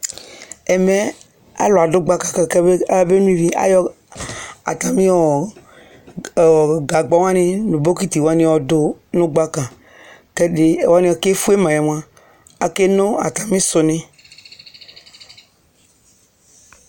Ɛmɛ alu adu gbaka ka ayaba nó ivɩ Atami gagbawani nu bokitiwani yɔ du nu gbaka Ku ɔliɛ ke fuë mayɛmua, aké no atamisuni